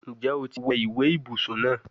Njẹ o ti wẹ iwe ibusun naa?